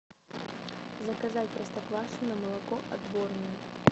заказать простоквашино молоко отборное